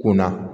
Kunna